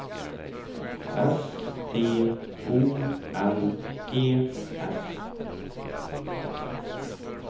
S T O N E S